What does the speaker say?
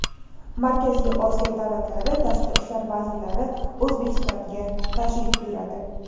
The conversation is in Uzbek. Markaziy Osiyo davlatlari tashqi ishlar vazirlari O‘zbekistonga tashrif buyuradi.